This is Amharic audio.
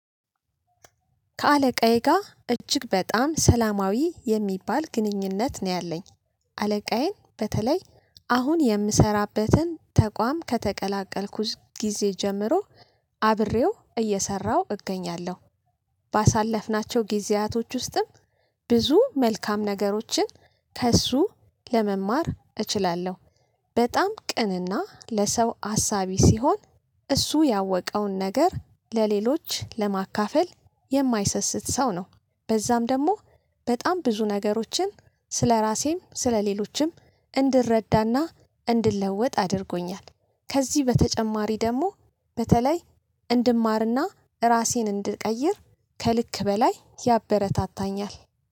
ከአለቃዬ ጋር እጅግ በጣም ሰላማዊ የሚባል ግንኙነት ነው ያለኝ። አለቃዬን በተለይ አሁን የምሰራበትን ተቋም ከተቀላቀልኩት ጊዜ ጀምሮ አብሬው እየሰራሁ እገኛለሁ። ባሳለፍናቸው ጊዜያቶች ውስጥም ብዙ መልካም ነገሮችን ከእሱ ለመማር እችላለሁ። በጣም ቅን እና ለሰው አሳቢ ሲሆን እሱ ያወቀውን ነገር ለሌሎች ለማካፈል የማይሰስት ሰው ነው። በዛም ደግሞ በጣም ብዙ ነገሮችን ስለራሴም ስለሌሎችም እንድረዳ እና እንድለወጥ አድርጎኛል። ከዚህ በተጨማሪ ደግሞ በተለይ እንድማር እና እራሴን እንድቀይር ከልክ በላይ ያበረታታኛል።